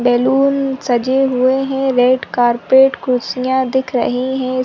Balloon सजे हुए हैं रेड कारपेट कुर्सियां दिख रही है।